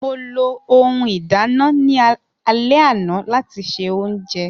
Mo lo ohun ìdánà ni alẹ ana lati ṣe ounjẹ.